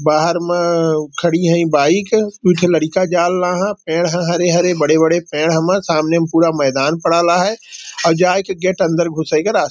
बाहर में खड़ी है ई बाइक है एक लड़का जालला है। पेड़ है हरे हरे बड़े बड़े पेड़ हम सामने में पूरा मैदान पढ़ेला है और जाई के गेट अंदर घुसे के रा --